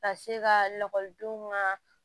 Ka se ka lakɔlidenw ka